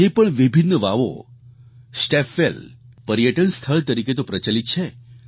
આજે પણ વિભિન્ન વાવો સ્ટેપવેલ પર્યટન સ્થળ તરીકે તો પ્રચલિત છે